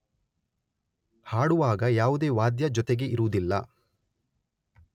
ಹಾಡುವಾಗ ಯಾವುದೇ ವಾದ್ಯ ಜೊತೆಗೆ ಇರುವುದಿಲ್ಲ.